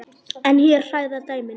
En hér hræða dæmin.